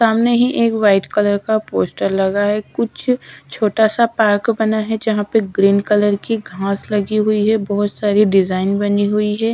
सामने ही एक वाइट कलर का पोस्टर लगा है कुछ छोटा सा पार्क बना है जहां पे ग्रीन कलर की घास लगी हुई है बहोत सारी डिजाइन बनी हुई है।